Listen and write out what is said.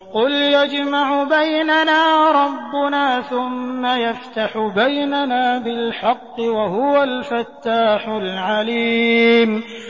قُلْ يَجْمَعُ بَيْنَنَا رَبُّنَا ثُمَّ يَفْتَحُ بَيْنَنَا بِالْحَقِّ وَهُوَ الْفَتَّاحُ الْعَلِيمُ